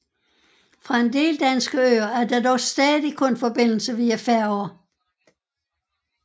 Fra en del danske øer er der dog stadig kun forbindelse via færger